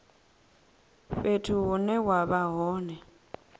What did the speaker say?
fhethu hune wa vha hone